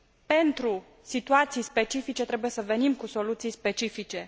Pentru situații specifice trebuie să venim cu soluții specifice.